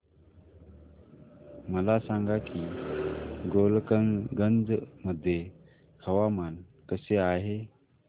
मला सांगा की गोलकगंज मध्ये हवामान कसे आहे